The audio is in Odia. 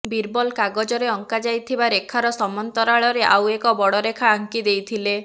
ବୀରବଲ କାଗଜରେ ଅଙ୍କା ଯାଇଥିବା ରେଖାର ସମାନ୍ତରାଳରେ ଆଉ ଏକ ବଡ଼ ରେଖା ଆଙ୍କି ଦେଇଥିଲେ